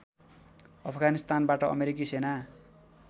अफगानिस्तानबाट अमेरिकी सेना